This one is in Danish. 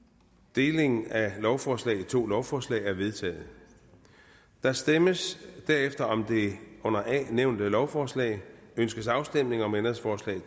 deling af lovforslaget i to lovforslag er vedtaget der stemmes derefter om det under a nævnte lovforslag ønskes afstemning om ændringsforslag